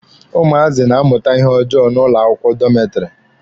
Ụmụazị na-amụta ihe ojoo n'ụlọ akwụkwọ dọmetiri.